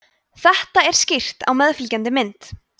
þetta er skýrt á meðfylgjandi mynd